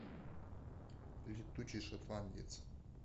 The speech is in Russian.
летучий шотландец